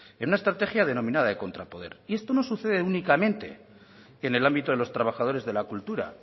en una estrategia denominada de contrapoder y esto no sucede únicamente en el ámbito de los trabajadores de la cultura